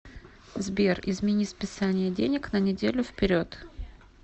сбер измени списания денег на неделю вперед